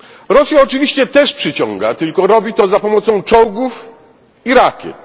Rosja oczywiście też przyciąga, tylko robi to za pomocą czołgów i rakiet.